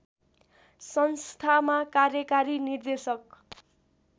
संस्थामा कार्यकारी निर्देशक